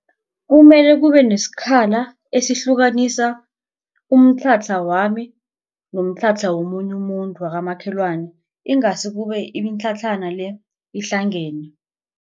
Kumele kube nesikhala esihlukanisa umtlhatlha wami nomtlhatlha womunye umuntu wakamakhelwana ingasi kube imitlhatlhana le ihlangene.